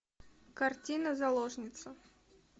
картина заложница